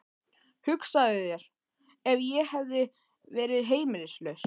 Hugsaðu þér ef ég hefði verið heimilislaus.